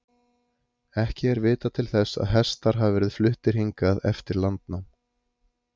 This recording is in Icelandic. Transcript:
Ekki er vitað til þess að hestar hafi verið fluttir hingað eftir landnám.